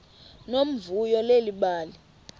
nomvuyo leli bali